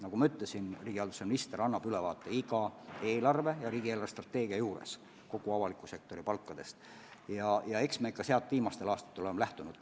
Nagu ma ütlesin, riigihalduse minister annab iga eelarvet ja riigi eelarvestrateegiat arutades ülevaate kogu avaliku sektori palkadest ja eks me sellest ole viimastel aastatel ka lähtunud.